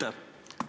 Aitäh!